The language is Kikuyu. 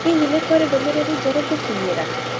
Hihi nĩ kũrĩ ndũmĩrĩri njerũ ngũkinyĩra?